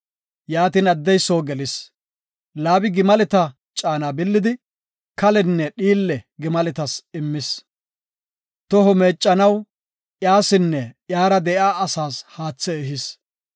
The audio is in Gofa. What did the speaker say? Yaatin addey soo gelis. Laabi gimaleta caana billidi, kalenne dhiille gimaletas immas. Toho meeccanaw iyasinne iyara de7iya asaas haathe ehis.